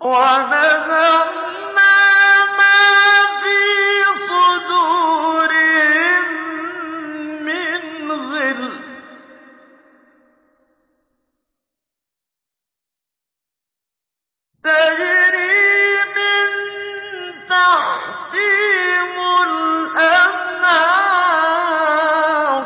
وَنَزَعْنَا مَا فِي صُدُورِهِم مِّنْ غِلٍّ تَجْرِي مِن تَحْتِهِمُ الْأَنْهَارُ ۖ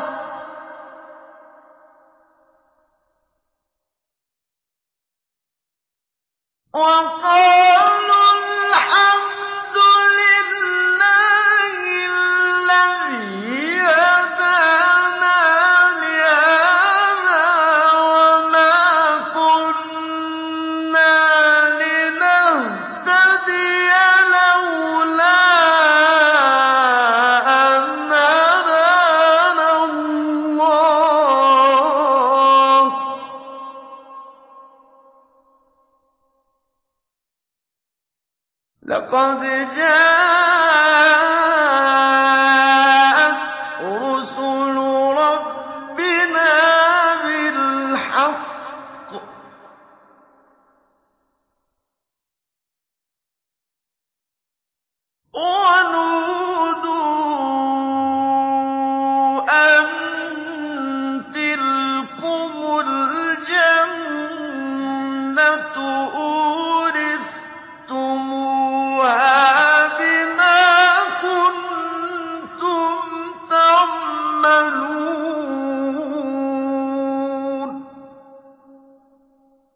وَقَالُوا الْحَمْدُ لِلَّهِ الَّذِي هَدَانَا لِهَٰذَا وَمَا كُنَّا لِنَهْتَدِيَ لَوْلَا أَنْ هَدَانَا اللَّهُ ۖ لَقَدْ جَاءَتْ رُسُلُ رَبِّنَا بِالْحَقِّ ۖ وَنُودُوا أَن تِلْكُمُ الْجَنَّةُ أُورِثْتُمُوهَا بِمَا كُنتُمْ تَعْمَلُونَ